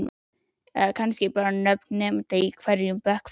Eða kannski bara nöfn nemenda í hverjum bekk fyrir sig?